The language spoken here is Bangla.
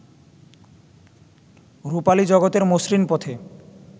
রুপালি জগতের মসৃণ পথে